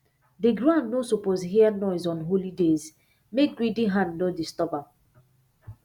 the ground no suppose hear noise on holy days make greedy hand no disturb am